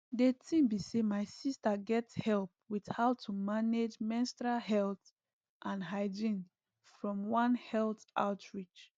the thing be say my sister get help with how to manage menstrual health and hygiene from one health outreach